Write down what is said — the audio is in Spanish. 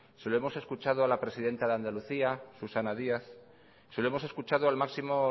se lo hemos escuchado a la presidenta de andalucía susana díaz se lo hemos escuchado al máximo